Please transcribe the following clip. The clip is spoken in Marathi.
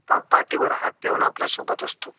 पाठीवर हात ठेऊन आपल्या सोबत असतो